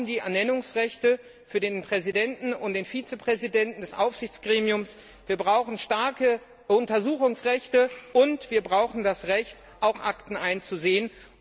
wir brauchen die Ernennungsrechte für den Präsidenten und den Vizepräsidenten des Aufsichtsgremiums, wir brauchen starke Untersuchungsrechte und wir brauchen das Recht, auch Akten einzusehen.